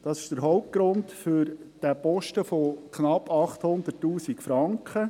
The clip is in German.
Das ist der Hauptgrund für diesen Posten von knapp 800 000 Franken.